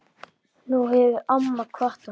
Nú hefur amma kvatt okkur.